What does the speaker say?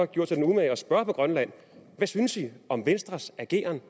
gjort sig den umage at spørge på grønland hvad synes i om venstres ageren